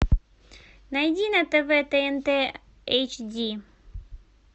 найди на тв тнт эйч ди